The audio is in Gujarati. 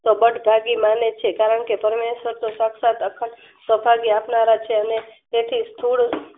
ભાગી માને છે. કારણકે તેમને સાન્તોસ સાકસાત અખંડ સૌભાગ્ય આપનારા છે. અને તેથી થોડું